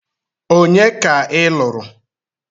Onye ka ị lụrụ?